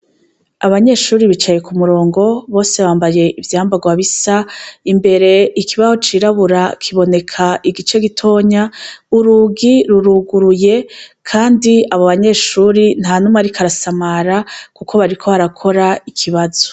Abanyeshuri bicaye ku murongo bose bambaye ivyambarwa bisa imbere ikibaho cirabura kiboneka igice gitonya urugi ruruguruye, kandi abo banyeshuri nta numa arikarasamara, kuko bariko barakora ikibazo.